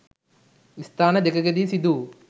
ස්ථාන දෙකකදී සිදු වූ